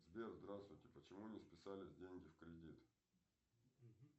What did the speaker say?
сбер здравствуйте почему не списались деньги в кредит